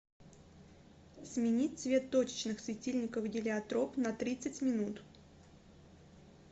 сменить цвет точечных светильников гелиотроп на тридцать минут